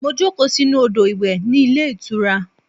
Mo jókòó sínú odo-iwe ní ilé ìtura.